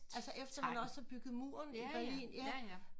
Altså efter man også har bygget muren i Berlin ja